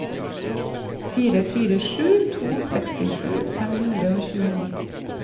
fire fire sju to sekstisju fem hundre og tjueni